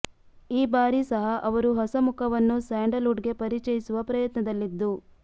ಈ ಬಾರಿ ಸಹ ಅವರು ಹೊಸಮುಖವನ್ನು ಸ್ಯಾಂಡಲ್ ವುಡ್ ಗೆ ಪರಿಚಯಿಸುವ ಪ್ರಯತ್ನದಲ್ಲಿದ್ದು